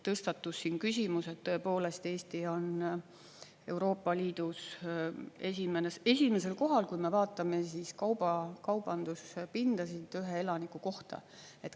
Tõstatus küsimus, et tõepoolest, Eesti on Euroopa Liidus esimesel kohal, kui me vaatame kaubanduspindasid ühe elaniku kohta.